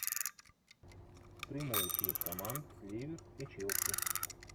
прямой эфир команд ливер и челси